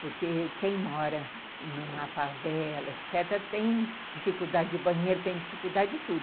Porque quem mora numa favela, etecetera., tem dificuldade de banheiro, tem dificuldade de tudo.